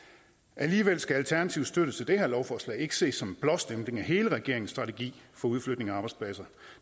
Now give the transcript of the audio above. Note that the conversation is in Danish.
alligevel skal alternativets støtte til det her lovforslag ikke ses som en blåstempling af hele regeringens strategi for udflytning af arbejdspladser